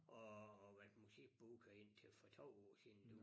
Og og været musikbooker indtil for 2 år siden nu